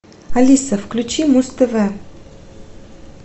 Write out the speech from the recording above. алиса включи муз тв